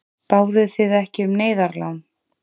Báðuð þið ekki um neyðarlán?